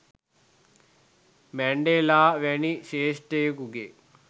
Mandela වැනි ශ්‍රේෂ්ඨයෙකුගේ